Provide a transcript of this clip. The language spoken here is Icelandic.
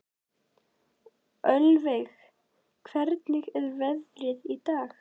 Ölveig, hvernig er veðrið í dag?